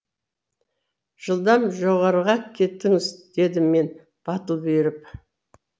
жылдам жоғарыға кетіңіз дедім мен батыл бұйырып